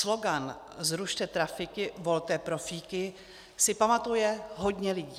Slogan "zrušte trafiky, volte profíky" si pamatuje hodně lidí.